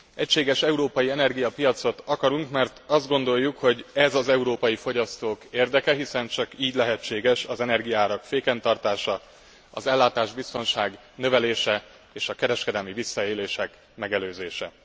Egységes európai energiapiacot akarunk, mert azt gondoljuk, hogy ez az európai fogyasztók érdeke, hiszen csak így lehetséges az energiaárak féken tartása, az ellátásbiztonság növelése és a kereskedelmi visszaélések megelőzése.